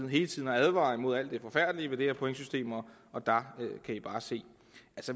hele tiden har advaret mod alt det forfærdelige ved det her pointsystem og der kan vi bare se